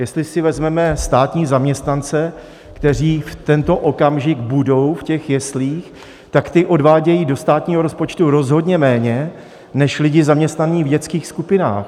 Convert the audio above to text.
Jestli si vezmeme státní zaměstnance, kteří v tento okamžik budou v těch jeslích, tak ti odvádějí do státního rozpočtu rozhodně méně než lidi zaměstnaní v dětských skupinách.